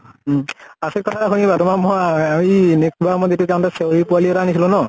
উম। আচৰিত কথা শুনিবা তোমাৰ মই আৰু ই নেক লোৱা চেওৰী পোৱালী এটা আনিছিলো ন